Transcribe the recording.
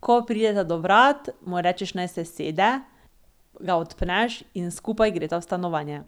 Ko prideta do vrat, mu rečeš, naj se usede, ga odpneš in skupaj gresta v stanovanje.